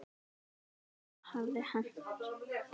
Það versta hafði hent.